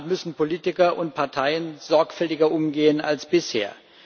Damit müssen Politiker und Parteien sorgfältiger umgehen als bisher.